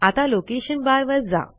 आता लोकेशन बारवर जा